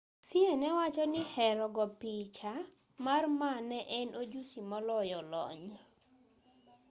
hsieh ne wachoni hero go picha mar ma ne en ojusi moloyo lony